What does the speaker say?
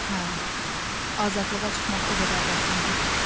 Hə, azadlığa çıxmaq o qədər də asan deyil.